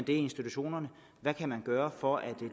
i institutionerne hvad kan man gøre for at